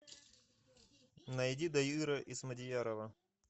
найди дайыра исмадиярова